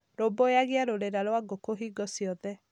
Rũmbũiyagia rũrĩra rwa ngũkũ hingo ciothe.